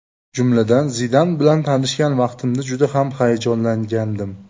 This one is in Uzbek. Jumladan, Zidan bilan tanishgan vaqtimda juda ham hayajonlangandim.